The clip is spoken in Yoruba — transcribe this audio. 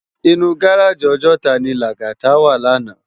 Inú gáráji Òjòtá ni Lagata wá làná